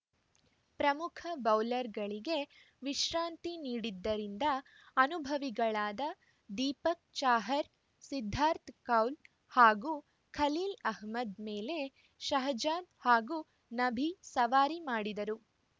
ಪ್ರಮುಖ ಬೌಲರ್‌ಗಳಿಗೆ ವಿಶ್ರಾಂತಿ ನೀಡಿದ್ದರಿಂದ ಅನನುಭವಿಗಳಾದ ದೀಪಕ್‌ ಚಾಹರ್‌ ಸಿದ್ಧಾರ್ಥ್ ಕೌಲ್‌ ಹಾಗೂ ಖಲೀಲ್‌ ಅಹ್ಮದ್‌ ಮೇಲೆ ಶಹಜಾದ್‌ ಹಾಗೂ ನಬಿ ಸವಾರಿ ಮಾಡಿದರು